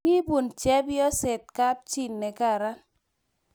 Ki bun chepyoset kapchii ne kararn